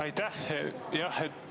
Aitäh!